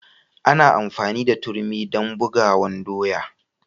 Ana amfani da turmi dan bugawan doya.